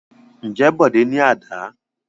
Ǹjẹ́ Bọ̀dé ní àdá?